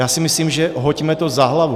Já si myslím, že hoďme to za hlavu.